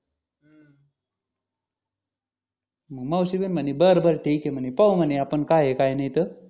मग मावशी बी म्हणे बरं बरं ठीक ये म्हणे पाहू म्हणे आपण काय हे काय नि त